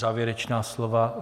Závěrečná slova?